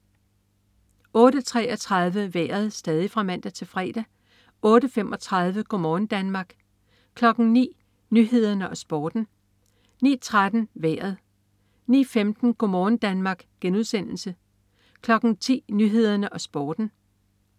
08.33 Vejret (man-fre) 08.35 Go' morgen Danmark (man-fre) 09.00 Nyhederne og Sporten (man-fre) 09.13 Vejret (man-fre) 09.15 Go' morgen Danmark* (man-fre) 10.00 Nyhederne og Sporten (man-fre)